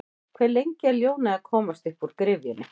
Hve lengi er ljónið að komast uppúr gryfjunni?